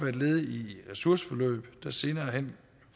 et led i et ressourceforløb der senere hen